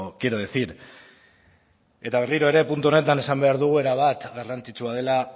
quiero decir eta berriro ere punto honetan esan behar du erabat garrantzitsua dela